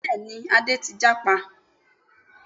Bẹ́ẹ̀ni Adé ti jápa